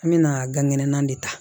An mɛna gankɛnɛ de ta